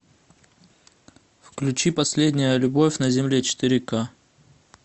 включи последняя любовь на земле четыре ка